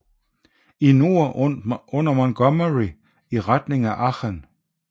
I nord under Montgomery i retning af Aachen